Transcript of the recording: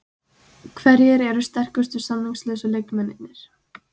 Hverjir eru sterkustu samningslausu leikmennirnir?